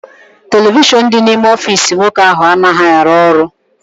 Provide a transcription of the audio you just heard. Televishọn dị n'ime ọfịịsi nwoke ahụ anaghị arụ ọrụ.